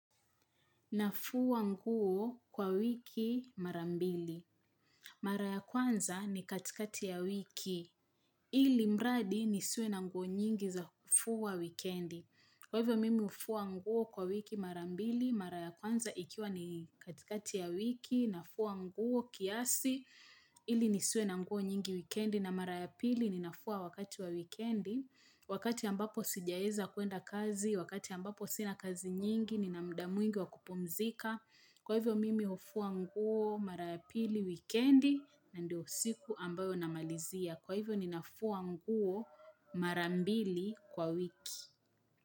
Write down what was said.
Nafua nguo kwa wiki marambili. Mara ya kwanza ni katikati ya wiki. Ili mradi ni siwevna nguo nyingi za kufua wikendi. Kwa hivyo mimi hufua nguo kwa wiki marambili, mara ya kwanza ikiwa ni katikati ya wiki, nafua nguo kiasi, ili nisiwe na nguo nyingi wikendi. Na mara ya pili ninafua wakati wa wikendi Wakati ambapo sijaweza kuenda kazi Wakati ambapo sina kazi nyingi Nina mda mwingi wa kupumzika Kwa hivyo mimi hufua nguo mara ya pili wikendi na ndio siku ambayo namalizia Kwa hivyo ninafua nguo mara mbili kwa wiki.